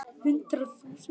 En hvað breytist núna?